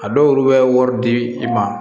A dɔw bɛ wari di i ma